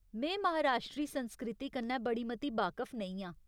में महाराश्ट्री संस्कृति कन्नै बड़ी मती बाकफ नेईं आं।